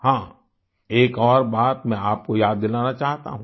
हां एक और बात मैं आपको याद दिलाना चाहता हूँ